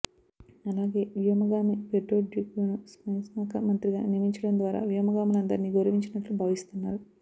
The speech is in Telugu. అలాగే వ్యోమగామి పెడ్రొడూక్యును సైన్స్శాఖమంత్రిగా నియమించడం ద్వారా వ్యోమగాములందరినీ గౌరవించినట్లు భావిస్తున్నారు